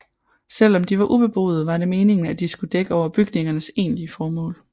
Selv om de var ubeboede var det meningen at de skulle dække over bygningernes egentlige formål